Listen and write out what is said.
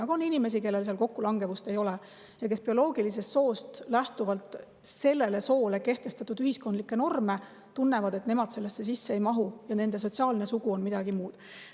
Aga on inimesi, kellel kokkulangevust ei ole ja nad tunnevad, et nemad bioloogilisele soole kehtestatud ühiskondlike normide sisse ei mahu ja nende sotsiaalne sugu on midagi muud.